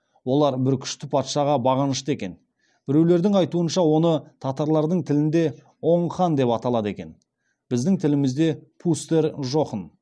олар бір күшті патшаға бағынышты екен біреулердің айтуынша оны татарлардың тілінде оң хан деп аталады екен біздің тілімізде пустер жохн